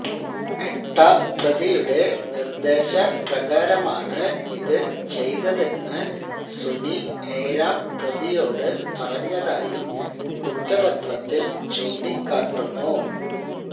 എട്ടാം പ്രതിയുടെ നിര്ദേശപ്രകാരമാണ് ഇത് ചെയ്തതെന്ന് സുനി ഏഴാം പ്രതിയോട് പറഞ്ഞതായും കുറ്റപത്രത്തില് ചൂണ്ടിക്കാട്ടുന്നു